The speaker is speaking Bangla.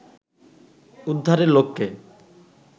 উদ্ধারের লক্ষ্যে